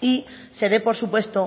y se dé por supuesto